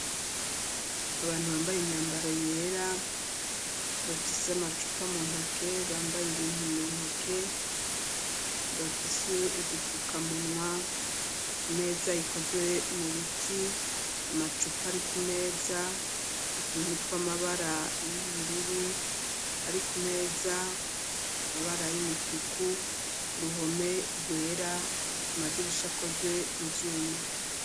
Abantu bambaye imyambaro yera bafise amacupa mu ntoke bambaye ibintu mu ntoke bafise udufukamunwa imeza ikozwe mu biti amacupa ari ku meza utuntu tw'amabara y'ubururu ari ku meza amabara y'umutuku uruhome rwera amadirisha akozwe mu byuma.